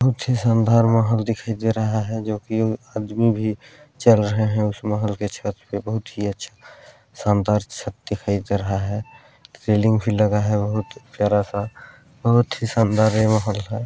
बहुत ही शानदार महल दिखाई दे रहा है जोकि आदमी भी चल रहे है उस महल के छत पे बहुत ही अच्छा शानदार छत दिखाई दे रहा है रेलिंग भी लगा है बहुत प्यारा- सा बहुत ही शानदार ए महल हैं।